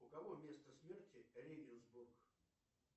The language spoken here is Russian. у кого место смерти регенсбург